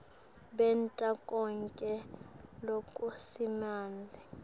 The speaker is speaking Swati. benta konkhe lokusemandleni